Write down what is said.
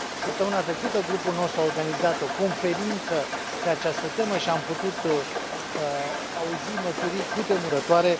Săptămâna trecută, Grupul nostru a organizat o conferință pe această temă și am putut auzi mărturii cutremurătoare.